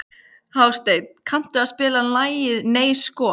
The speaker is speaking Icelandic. Hásteinn, kanntu að spila lagið „Nei sko“?